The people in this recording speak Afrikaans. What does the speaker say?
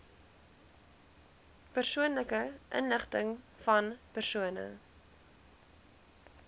persoonlike inligtingvan persone